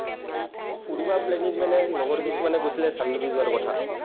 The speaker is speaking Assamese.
ফুৰিব planning মানে লগৰ কিছুমানে কৈছিলে চানডুবি যোৱাৰ কথা।